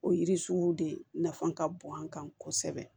O yiri sugu de nafa ka bon an kan kosɛbɛ